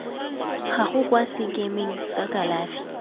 gago kwa sekemeng sa kalafi